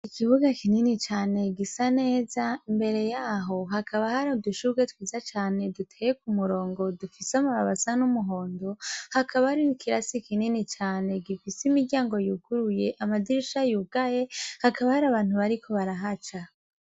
Ikibuga kinini cane cane gisa neza imbere yaho hakaba har'udushurwe twiza cane duteye ku murongo dufise amababi asa n'umuhondo, hakaba har'ikirasi kinini cane gifise imiryango yuguruye amadirisha yugaye hakaba har'abantu bariko barahaca.